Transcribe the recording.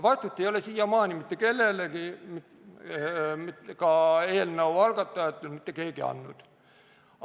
Vastust ei ole mitte keegi ka eelnõu algatajatest siiamaani mitte kellelegi andnud.